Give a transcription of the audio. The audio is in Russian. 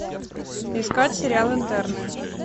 искать сериал интерны